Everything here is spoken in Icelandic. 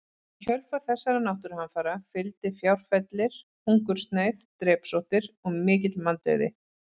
Í kjölfar þessara náttúruhamfara fylgdi fjárfellir, hungursneyð, drepsóttir og mikill manndauði.